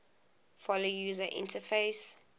follow user interface